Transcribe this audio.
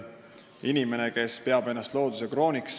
Inimene peab ennast looduse krooniks.